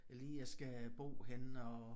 Lige jeg skal bo henne og